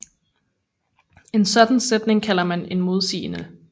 En sådan sætning kalder man en modsigelse